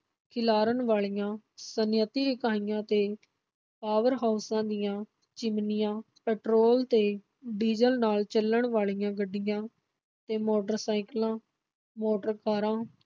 ਖਿਲਾਰਨ ਵਾਲੀਆਂ ਸਨਅਤੀ ਇਕਾਈਆਂ ਤੇ power ਹਾਊਸਾਂ ਦੀਆਂ ਚਿਮਨੀਆਂ, ਪੈਟਰੋਲ ਤੇ ਡੀਜ਼ਲ ਨਾਲ ਚੱਲਣ ਵਾਲੀਆਂ ਗੱਡੀਆਂ ਤੇ ਮੋਟਰਾਂ ਸਾਇਕਲਾਂ, ਮੋਟਰ ਕਾਰਾਂ